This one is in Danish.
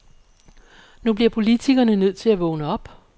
Nu bliver politikerne nødt til at vågne op.